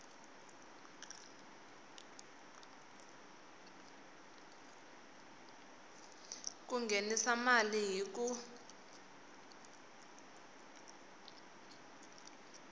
ku nghenisa mali hi ku